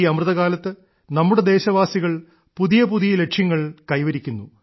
ഈ അമൃതകാലത്ത് നമ്മുടെ ദേശവാസികൾ പുതിയ പുതിയ ലക്ഷ്യങ്ങൾ കൈവരിക്കുന്നു